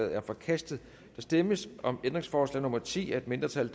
er forkastet der stemmes om ændringsforslag nummer ti af et mindretal